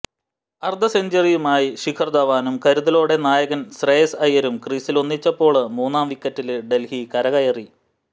അര്ധ സെഞ്ചുറിയുമായി ശിഖര് ധവാനും കരുതലോടെ നായകന് ശ്രേയസ് അയ്യരും ക്രീസിലൊന്നിച്ചപ്പോള് മൂന്നാം വിക്കറ്റില് ഡല്ഹി കരകയറി